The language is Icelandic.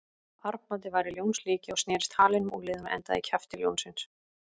Armbandið var í ljónslíki og snerist halinn um úlnliðinn og endaði í kjafti ljónsins.